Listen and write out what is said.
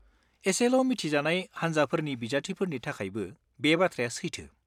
एसेल' मिथिजानाय हान्जाफोरनि बिजाथिफोरनि थाखायबो बे बाथ्राया सैथो।